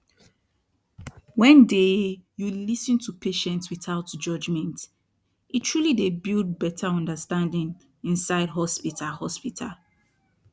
wen dey you lis ten to patient without judgment e truly dey build beta understanding insid hospital hospital